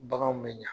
Baganw bɛ ɲa